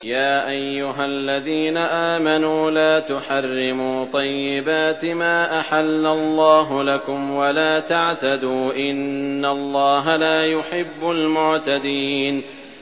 يَا أَيُّهَا الَّذِينَ آمَنُوا لَا تُحَرِّمُوا طَيِّبَاتِ مَا أَحَلَّ اللَّهُ لَكُمْ وَلَا تَعْتَدُوا ۚ إِنَّ اللَّهَ لَا يُحِبُّ الْمُعْتَدِينَ